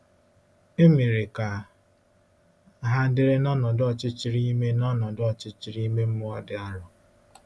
E mere ka ha dịrị n’ọnọdụ ọchịchịrị ime n’ọnọdụ ọchịchịrị ime mmụọ dị arọ.